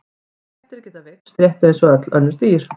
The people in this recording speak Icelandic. Kettir geta veikst rétt eins og öll önnur dýr.